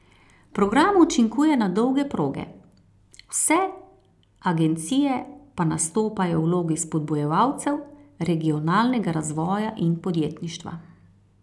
Program učinkuje na dolge proge, vse agencije pa nastopajo v vlogi spodbujevalcev regionalnega razvoja in podjetništva.